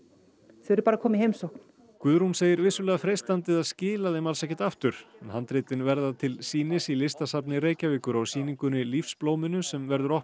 þau eru bara að koma í heimsókn Guðrún segir vissulega freistandi að skila þeim ekki aftur handritin verða til sýnis í Listasafni Reykjavíkur á sýningunni Lífsblóminu sem verður opnuð